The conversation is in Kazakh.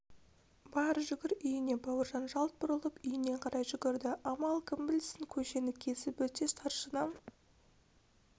бар жүгір үйіңе бауыржан жалт бұрылып үйіне қарай жүгірді амал кім білсін көшені кесіп өтсе старшина